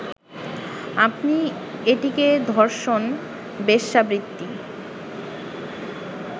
আপনি এটিকে ধর্ষণ, বেশ্যাবৃত্তি